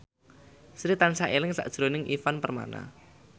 Sri tansah eling sakjroning Ivan Permana